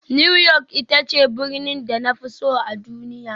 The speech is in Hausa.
New York ita ce birnin da na fi so a duniya